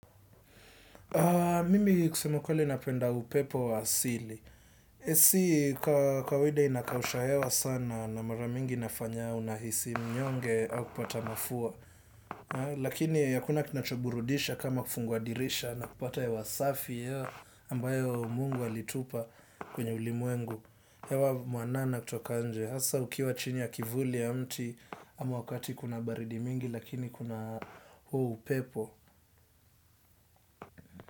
Mimi kusema kweli napenda upepo wa asili. AC kwa kawaida inakausha hewa sana na mara mingi inafanya unahisi mnyonge au kupata mafua. Lakini hakuna kinachoburudisha kama kufungua dirisha na kupata hewa safi ambayo Mungu alitupa kwenye ulimwengu. Hewa mwanana kutoka nje hasa ukiwa chini ya kivuli ya mti ama wakati kuna baridi mingi lakini kuna huo upepo.